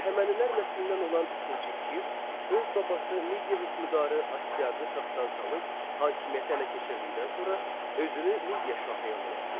Əhəmənilər nəslindən olan ikinci Kir öz babası Midiya hökmdarı Astiaqı taxtdan salıb, hakimiyyəti ələ keçirdikdən sonra özünü Midiya şahı elan etdi.